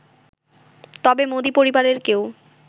তবে মোদি পরিবারের কেউ